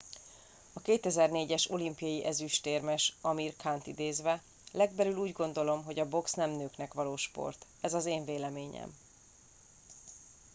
"a 2004-es olimpiai ezüstérmes amir khant idézve: "legbelül úgy gondolom hogy a box nem nőknek való sport. ez az én véleményem.""